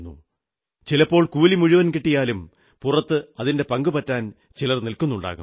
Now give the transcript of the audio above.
ചിലപ്പോൾ കൂലി മുഴുവൻ കിട്ടിയാലും പുറത്ത് അതിന്റെ പങ്കുപറ്റാൻ ചിലർ നില്ക്കുന്നുണ്ടാകും